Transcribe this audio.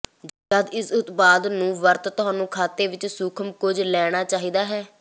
ਜਦ ਇਸ ਉਤਪਾਦ ਨੂੰ ਵਰਤ ਤੁਹਾਨੂੰ ਖਾਤੇ ਵਿੱਚ ਸੂਖਮ ਕੁਝ ਲੈਣਾ ਚਾਹੀਦਾ ਹੈ